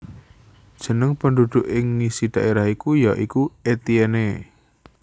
Jeneng penduduk ing ngisi daerah iku ya iku Etienne